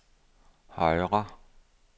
højre